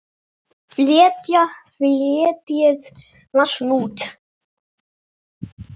Fletjið massann út.